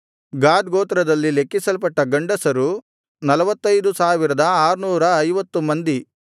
ಗಾದ್ ಗೋತ್ರದಲ್ಲಿ ಲೆಕ್ಕಿಸಲ್ಪಟ್ಟ ಗಂಡಸರು 45650 ಮಂದಿ